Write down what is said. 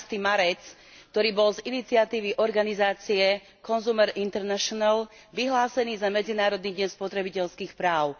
15. marec, ktorý bol z iniciatívy organizácie Consumer International vyhlásený za Medzinárodný deň spotrebiteľských práv.